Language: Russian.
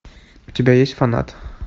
у тебя есть фанат